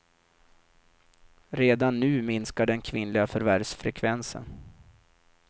Redan nu minskar den kvinnliga förvärvsfrekvensen.